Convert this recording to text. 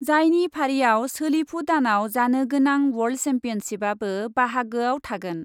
जायनि फारिआव सोलिफु दानआव जानो गोनां वर्ल्ड सेम्पियनसिपआबो बाहागोआव थागोन ।